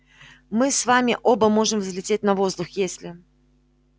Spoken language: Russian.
мы с вами оба можем взлететь на воздух если